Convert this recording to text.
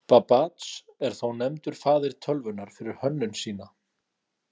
Babbage er þó nefndur faðir tölvunnar fyrir hönnun sína.